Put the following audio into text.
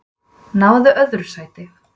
Náðu öðru sæti